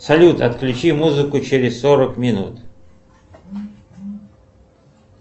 салют отключи музыку через сорок минут